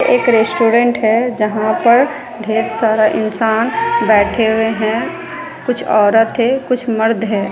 एक रेस्टोरेंट है जहां पर ढेर सारा इंसान बैठे हुए है कुछ औरत है कुछ मर्द है।